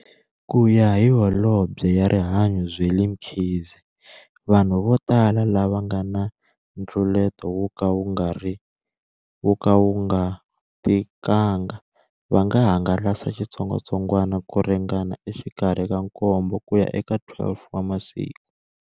Kuya hi Holobye wa Rihanyo Zweli Mkhize, vanhu votala lava va nga na ntluleto wo ka wu nga tikanga va nga hangalasa xitsongwatsongwana ku ringana exikarhi ka nkombo ku ya eka 12 wa masiku.